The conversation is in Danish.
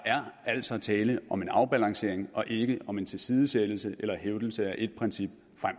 altså tale om en afbalancering og ikke om en tilsidesættelse eller en hævdelse af et princip